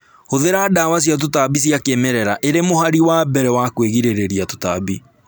Hũthira dawa cia tũtambi cia kĩmerera irĩ mũhari wa mbere wa kwĩgirĩrĩria tũtambi